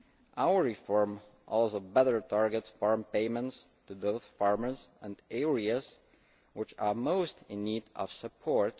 Our reform also better targets farm payments to those farmers and areas which are most in need of support.